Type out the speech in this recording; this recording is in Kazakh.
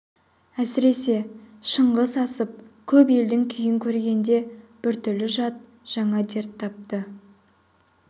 әсіресе шыңғыс асып көп елдің күйін көргенде біртүрлі жат жаңа дерт тапты